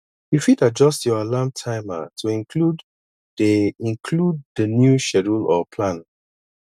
you fit adjuyst your alarm timer to include the include the new schedule or plan